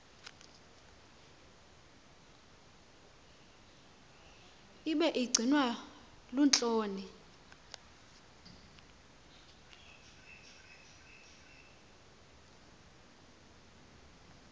ibi gcinwa luhloni